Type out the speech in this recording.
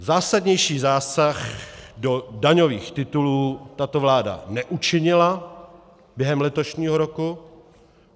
Zásadnější zásah do daňových titulů tato vláda neučinila během letošního roku.